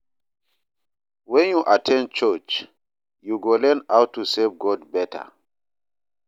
Wen yu at ten d church, yu go learn how to serve God beta.